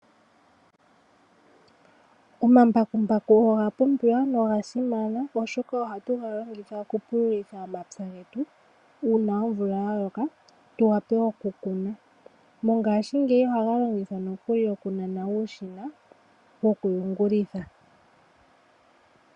Omambakumbaku oga pumbiwa noga simana oshoka ohatu ga longitha okupulitha omapya getu uuna omvula ya loka tu wa pe okukuna, mongashingeyi ohaga longithwa nokuli okunana uushina wokuyungulitha.